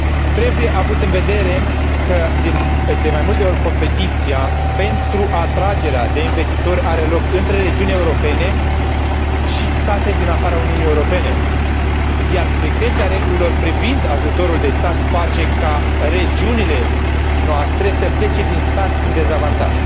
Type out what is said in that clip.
Trebuie avut în vedere că, de mai multe ori, competiția pentru atragerea de investitori are loc între regiuni europene și state din afara Uniunii Europene, iar strictețea regulilor privind ajutorul de stat face ca regiunile noastre să plece din start cu un dezavantaj.